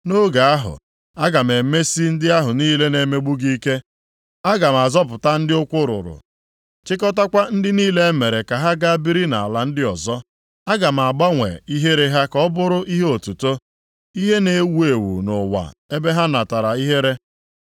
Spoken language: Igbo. Nʼoge ahụ, aga m emesi ndị ahụ niile na-emegbu gị ike. Aga m azọpụta ndị ụkwụ rụrụ, chịkọtakwa ndị niile e mere ka ha gaa biri nʼala ndị ọzọ. Aga m agbanwe ihere ha ka ọ bụrụ ihe otuto nʼihe na-ewu ewu nʼụwa ebe ha natara ihere.